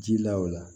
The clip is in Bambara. Ji la o la